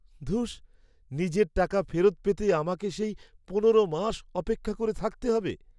ধুস, নিজের টাকা ফেরত পেতে আমাকে সেই পনেরো মাস অপেক্ষা করে থাকতে হবে।